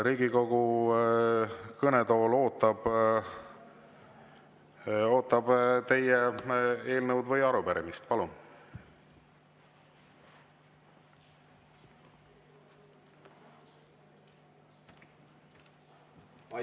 Riigikogu kõnetool ootab teie eelnõu või arupärimist, palun!